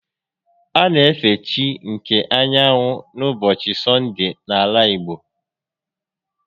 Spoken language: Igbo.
A na efe chi nke anyanwụ n'ụbọchị Sọndee n'ala igbo